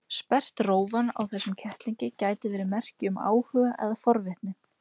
Sperrt rófan á þessum kettlingi gæti verið merki um áhuga eða forvitni.